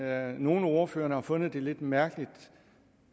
at nogle af ordførerne har fundet det lidt mærkeligt